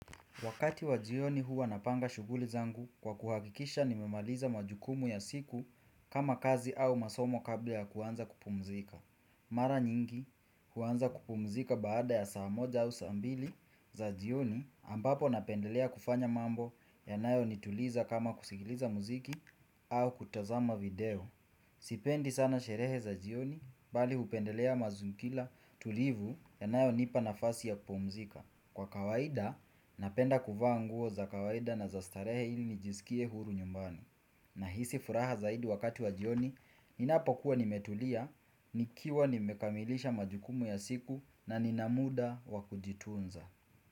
Wakati wa jioni huwa napanga shuguli zangu kwa kuhakikisha nimemaliza majukumu ya siku kama kazi au masomo kabla ya kuanza kupumzika. Mara nyingi huwanza kupumzika baada ya saa moja au saa ambili za jioni ambapo napendelea kufanya mambo yanayo nituliza kama kusikiliza muziki au kutazama video. Sipendi sana sherehe za jioni bali hupendelea mazunkila tulivu ya nayo nipa nafasi ya kupumzika. Kwa kawaida, napenda kuvaa nguo za kawaida na za starehe ili nijisikie huru nyumbani. Nahisi furaha zaidi wakati wa jioni, ninapo kuwa nimetulia, nikiwa nimekamilisha majukumu ya siku na ninamuda wakujitunza.